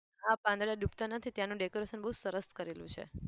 હા પાંદડા ડૂબતા નથી ત્યાંનું decoration બહુ સરસ કરેલું છે.